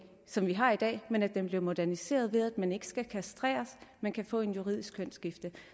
som vi har i dag men så den bliver moderniseret ved at man ikke skal kastreres men kan få et juridisk kønsskifte